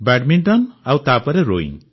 badminton ଆଉ ତାପରେ rowing